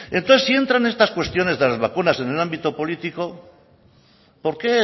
entonces si entran estas cuestiones de las vacunas en el ámbito político por qué